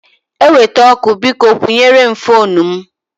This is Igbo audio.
Eweta ọkụ, biko kwụnyere m foonu m.